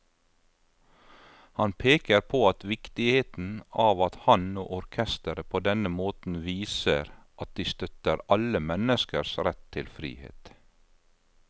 Han peker på viktigheten av at han og orkesteret på denne måten viser at de støtter alle menneskers rett til frihet.